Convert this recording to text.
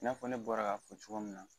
I n'a fɔ ne bɔra ka fɔ cogo min na.